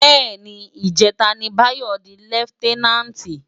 Bè ni, ijètá ni Bayo di lèfitènánti